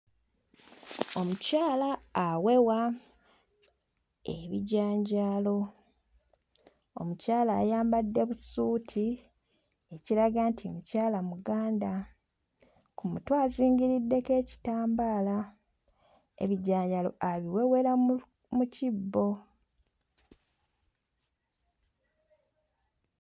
Omukyala awewa ebijanjaalo, omukyala ayambadde busuuti ekiraga nti mukyala muganda, ku mutwe azingiriddeko ekitambaala, ebijanjaalo abiwewera mu mu kibbo.